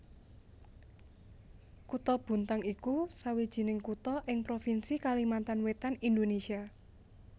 Kutha Bontang iku sawijining kutha ing provinsi Kalimantan Wétan Indonésia